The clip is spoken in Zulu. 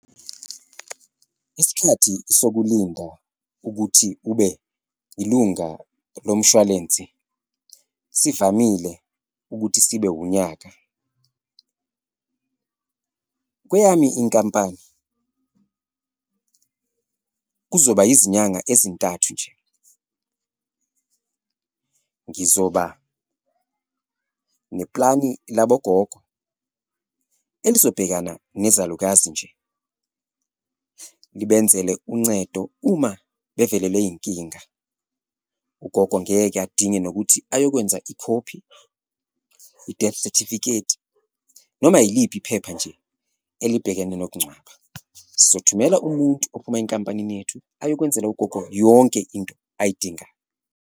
Isikhathi sokulinda ukuthi ube yilunga lomshwalensi sivamile ukuthi sibe unyaka. Kweyami inkampani, kuzoba izinyanga ezintathu nje, ngizoba neplani labogogo elizobhekana nezalukazi nje, ngibenzele uncedo uma bevelelwe inkinga. Ugogo ngeke adinge nokuthi ayokwenza ikhophi, i-death certificate noma yiliphi iphepha nje elibhekene nokugcwaba. Sizothumela umuntu ophuma enkampanini yethu ayokwenzela ugogo yonke into ayidingayo.